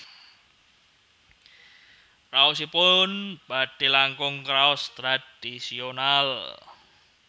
Raosipun badhe langkung kraos tradhisional